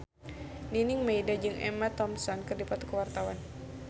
Nining Meida jeung Emma Thompson keur dipoto ku wartawan